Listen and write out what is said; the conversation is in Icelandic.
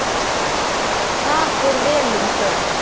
Þar fór vel um þau.